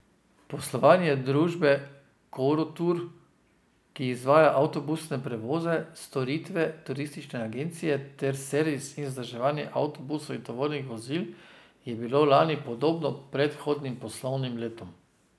Poslovanje družbe Koratur, ki izvaja avtobusne prevoze, storitve turistične agencije ter servis in vzdrževanje avtobusov in tovornih vozil, je bilo lani podobno predhodnim poslovnim letom.